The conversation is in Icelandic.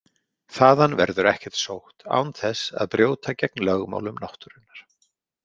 Þaðan verður ekkert sótt án þess að brjóta gegn lögmálum náttúrunnar.